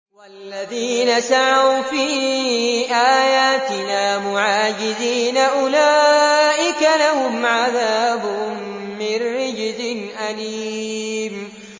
وَالَّذِينَ سَعَوْا فِي آيَاتِنَا مُعَاجِزِينَ أُولَٰئِكَ لَهُمْ عَذَابٌ مِّن رِّجْزٍ أَلِيمٌ